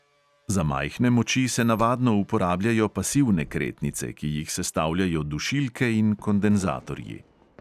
Za majhne moči se navadno uporabljajo pasivne kretnice, ki jih sestavljajo dušilke in kondenzatorji.